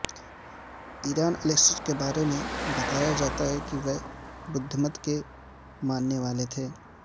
ایرن Alexis کے بارے میں بتایا جاتا ہے کہ وہ بدھ مت کےماننے والے تھے